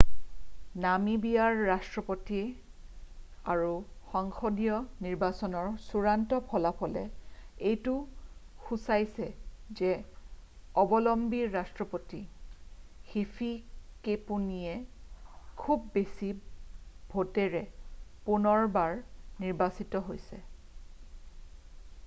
নামিবিয়াৰ ৰাষ্ট্ৰপতীয় আৰু সংসদীয় নিৰ্বাচনৰ চূড়ান্ত ফলাফলে এইটো সূচাইছে যে অবলম্বী ৰাষ্ট্ৰপতি হিফিকেপুনিয়ে খুব বেছি ভোটেৰে পুনৰবাৰ নিৰ্বাচিত হৈছে